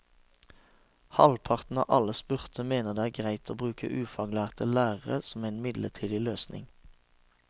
Halvparten av alle spurte mener det er greit å bruke ufaglærte lærere som en midlertidig løsning.